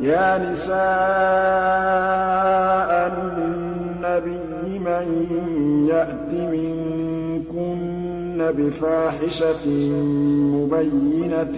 يَا نِسَاءَ النَّبِيِّ مَن يَأْتِ مِنكُنَّ بِفَاحِشَةٍ مُّبَيِّنَةٍ